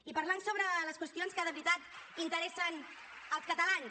i parlant sobre les qüestions que de veritat interessen els catalans